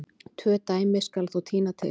Tvö dæmi skal þó tína til.